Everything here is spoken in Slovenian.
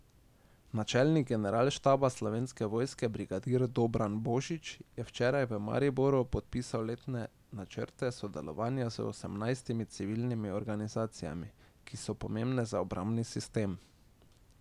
Načelnik generalštaba Slovenske vojske brigadir Dobran Božič je včeraj v Mariboru podpisal letne načrte sodelovanja z osemnajstimi civilnimi organizacijami, ki so pomembne za obrambni sistem.